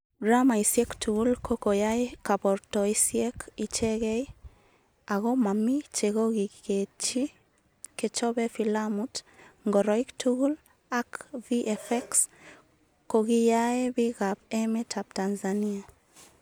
Dramaisiek tugul ko koyae kabartoisiek icheegei ako mamii chegogiketchi kechobe filamut, ngoroik tugul, ak VFX kogiyaae piik ap emet ap tanzania.